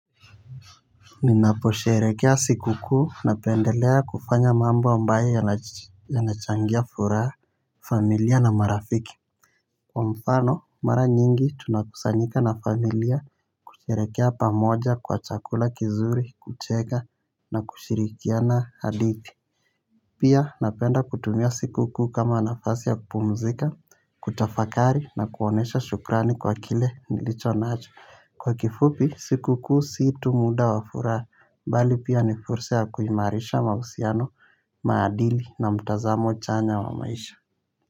Ninaposherekea sikukuu napendelea kufanya mambo ambaye yanachangia furaha. Familia na marafiki. Kwa mfano mara nyingi tunakusanyika na familia kusherekea pamoja kwa chakula kizuri kucheka na kushirikiana hadithi. Pia napenda kutumia siku kuu kama nafasi ya kupumzika kutafakari na kuonesha shukrani kwa kile nilichonacho. Kwa kifupi sikukuu si tu muda wa furaha. Mbali pia ni fursa ya kuimarisha mausiano maadili na mtazamo chanya wa maisha.